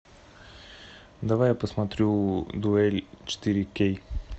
давай я посмотрю дуэль четыре кей